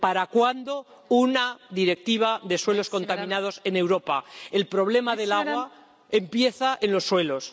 ¿Para cuándo una Directiva sobre suelos contaminados en Europa? El problema del agua empieza en los suelos.